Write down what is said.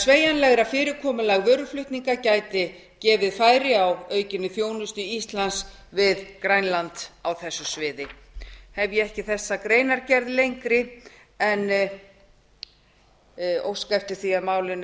sveigjanlegra fyrirkomulag vöruflutninga gæti gefið færi á aukinni þjónustu íslands við grænland á þessu sviði ég hef ekki þessa greinargerð lengri en óska eftir því að málinu